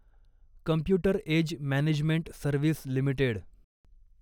computer age management service limited